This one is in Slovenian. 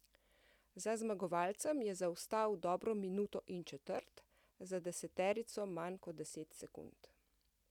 Za zmagovalcem je zaostal dobro minuto in četrt, za deseterico manj kot deset sekund.